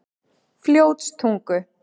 Fljótstungu